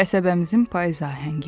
Qəsəbəmizin payız ahəngi.